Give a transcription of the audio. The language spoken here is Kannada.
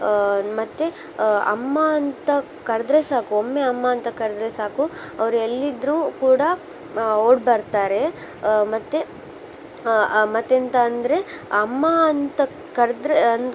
ಆ ಮತ್ತೆ ಆ ಅಮ್ಮಾ ಅಂತಾ ಕರ್ದ್ರೆ ಸಾಕು ಒಮ್ಮೆ ಅಮ್ಮಾ ಅಂತಾ ಕರ್ದ್ರೆ ಸಾಕು ಅವ್ರ ಎಲ್ಲಿ ಇದ್ರು ಕೂಡಾ ಆ ಓಡ್ ಬರ್ತಾರೆ. ಆ ಮತ್ತೆ ಆ ಆ ಮತ್ತೆಂತ ಅಂದ್ರೆ ಅಮ್ಮಾ ಅಂತಾ ಕರ್ದ್ರೆ ಅಂತ್